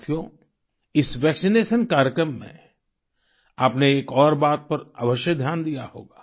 साथियो इस वैक्सिनेशन कार्यक्रम में आपने एक और बात पर अवश्य ध्यान दिया होगा